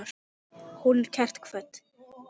Hún er kært kvödd.